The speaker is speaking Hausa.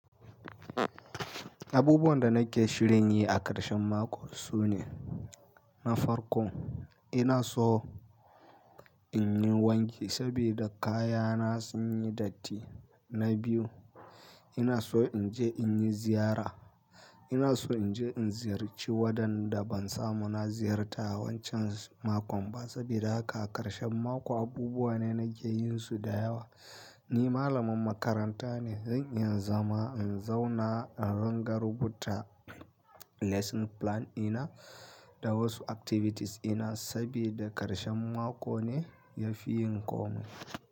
Abubuwan da nake shirin yi a karshen mako sune na farko ina so in yi wanki sabida kayana sun yi datti. Na biyu ina so in je in yi ziyara. Ina so in je in ziyarci wadanda ban samu na ziyarta wancan makon ba. Saboda haka a karshen mako abubuwa ne nake yinsu da yawa. Ni malamin makaranta ne. Zan inya zama in zauna in riga rubuta lesson plan ɗina da wasu activities ina sabida karshen mako ne ya fi yin komai.